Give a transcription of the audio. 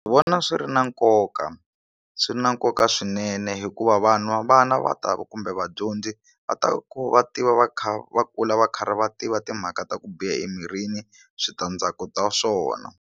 Ndzi vona swi ri na nkoka swi na nkoka swinene hikuva vana va ta va kumbe vadyondzi va ta ku va tiva va kha va kula va karhi va tiva timhaka ta ku biha emirini switandzhaku ta swona.